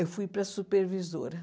Eu fui para a supervisora.